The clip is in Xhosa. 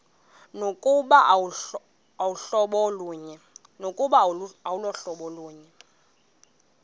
nokuba aluhlobo lunye